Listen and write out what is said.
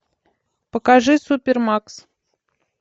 покажи супермакс